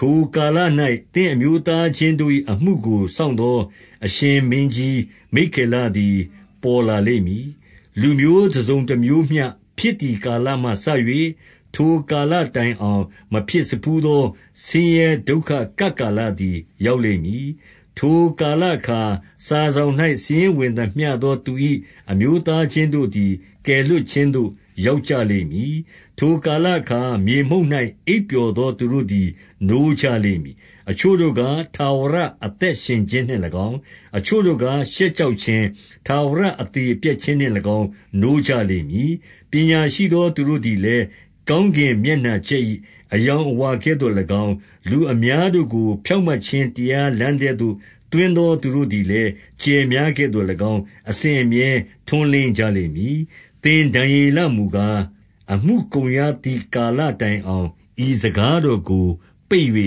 ထိုကာလ၌ သင့်အမျိုးသားချင်းတို့၏အမှုကို စောင့်သော အရှင်ကြီးမိက္ခေလသည် ပေါ်လာလိမ့်မည်။ လူမျိုးတစုံတမျိုးမှဖြစ်သည်ကာလမှစ၍ ထိုကာလတိုင်အောင်၊ မဖြစ်စဖူးသော ဆင်းရဲဒုက္ခကပ်ကာလသည် ရောက်လိမ့်မည်။ ထိုကာလအခါ စာစောင်၌ စာရင်းဝင်သမျှသော သင်၏အမျိုးသားချင်းတို့သည် ကယ်လွှတ်ခြင်း သို့ ရောက်ကြလိမ့်မည်။ 2 ထိုကာလအခါ မြေမှုန့်၌ အိပ်ပျော်သော သူများတို့သည် နိုးကြလိမ့်မည်။ အချို့တို့ကား၊ ထာဝရအသက် ရှင်ခြင်းနှင့်၎င်း၊ အချို့တို့ကား ရှက်ကြောက်ခြင်း၊ ထာဝရ အသရေပျက်ခြင်းနှင့်၎င်း နိုးကြလိမ့်မည်။ 3 ပညာရှိသော သူတို့သည်လည်း၊ ကောင်းကင်မျက်နှာကြက်၏ အရောင်အဝါကဲ့သို့၎င်း၊ လူအများတို့ကို ဖြောင့်မတ်ခြင်းတရားလမ်းထဲသို့ သွင်းသော သူတို့သည်လည်း၊ ကြယ်များကဲ့သို့၎င်း အစဉ်အမြဲ ထွန်းလင်း ကြလိမ့်မည်။ 4 သင်ဒံယေလမူကား၊ အမှုကုန်ရသည် ကာလတိုင်အောင်၊ ဤစကားတော်တို့ကို ပိတ်၍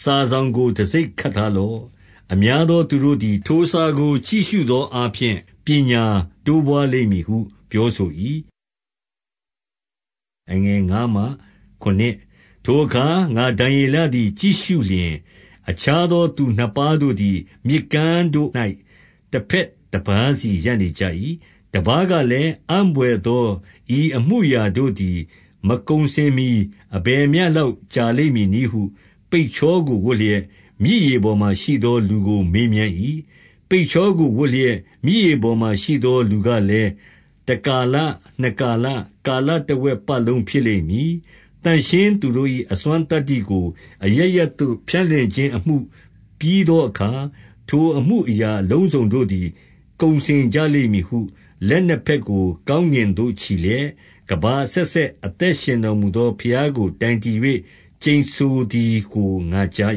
စာစောင်ကို တံဆိပ်ခတ်ထားလော့။ အများသော သူတို့သည် ထိုစာကို ကြည့်၍ရှုသောအားဖြင့် ပညာတိုးပွားလိမ့်မည်ဟု ပြောဆို ၏။ 5 ထိုအခါ ငါဒံယေလသည် ကြည့်ရှုလျှင်၊ အခြားသောသူနှစ်ပါးတို့သည် မြစ်ကမ်းတို့၌ တဘက်တပါး စီရပ်နေကြ၏။ 6 တပါးကလည်း၊ အံ့ဘွယ်သော ဤအမူအရာတို့သည် မကုန်စင်မှီ အဘယ်မျှ လောက်ကြာလိမ့်မည်နည်း ဟု ပိတ်ချောကိုဝတ်လျက်၊ မြစ်ရေပေါ်မှာရှိသော လူကိုမေးမြန်း၏။ 7 ပိတ်ချောကိုဝတ်လျက် မြစ်ရေပေါ်မှာရှိသော လူကလည်း တကာလ၊ နှစ်ကာလ၊ ကာလတဝက်ပတ်လုံး ဖြစ်လိမ့်မည်။ သန့်ရှင်းသော သူတို့၏ အစွမ်းသတ္တိကို အရပ်ရပ်သို့ ဖြန့်လွှင့်ခြင်းအမှုပြီးသောအခါ ထိုအမူ အရာ အလုံးစုံတို့သည် ကုန်စင်ကြလိမ့်မည်ဟု လက်နှစ်ဘက်ကို ကောင်းကင်သို့ချီလျှက် ကမ္ဘာအဆက်ဆက် အသက်ရှင်တော်မူသော ဘုရားကို တိုင်တည်၍ ကျိန်ဆို သည်ကို ငါကြား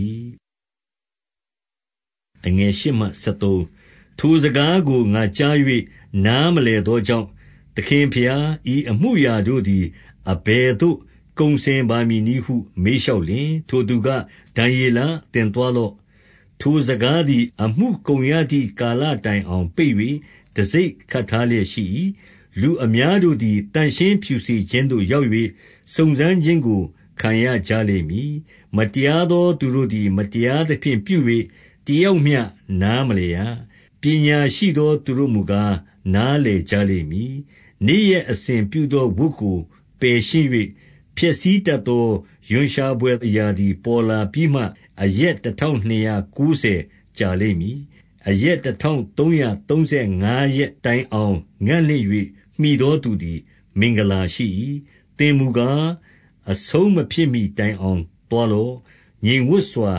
၏။ 8 ထိုစကားကို ငါကြား၍ နားမလည်သောကြောင့်၊ သခင်ဘုရား၊ ဤအမူအရာတို့သည် အဘယ်သို့ ကုန်စင် ပါမည်နည်းဟု မေးလျှောက်လျှင်၊ 9 ထိုသူက ဒံယေလ၊ သင်သွားလော့။ ထိုစကားသည် အမှုကုန်ရသည်ကာလတိုင်အောင် ပိတ်၍ တံဆိပ် ခတ်ထားလျက်ရှိ၏။ 10 လူအများတို့သည် သန့်ရှင်းဖြူစင်ခြင်းသို့ ရောက်၍ စုံစမ်းခြင်းကို ခံရကြလိမ့်မည်။ မတရားသော သူတို့သည် မတရားသဖြင့် ပြု၍ တယောက်မျှ နား မလည်ရ။ ပညာရှိသော သူတို့မူကား၊ နားလည်ကြလိမ့် မည်။ 11 နေ့ရက် အစဉ်ပြုသောဝတ်ကို ပယ်ရှင်း၍၊ ဖျက်ဆီးတတ်သော ရွံ့ရှာဘွယ် အရာသည် ပေါ်လာပြီးမှ၊ အရက်တထောင် နှစ်ရာကိုးဆယ် ကြာလိမ့်မည်။ 12 အရက်တထောင်သုံးရာသုံးဆယ်ငါးရက်တိုင် အောင် ငံ့လင့်၍ မှီသောသူသည် မင်္ဂလာရှိ၏။ 13 သင်မူကား အဆုံးမဖြစ်မှီတိုင်အောင် သွား လော့။ ငြိမ်ဝပ်စွာ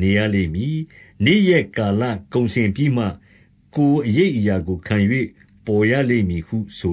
နေရလိမ့်မည်။ နေ့ရက်ကာလ ကုန်စင်ပြီးမှ ကိုယ်အရိပ်အရာကိုခံ၍ ပေါ်ရလိမ့်မည်ဟုဆို